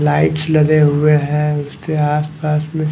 lights लगे हुए हैं उसके आस पास में--